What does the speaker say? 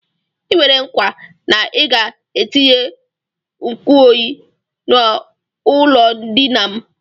I kwere nkwa na ị ga-etinye nkuoyi n'ụlọndina m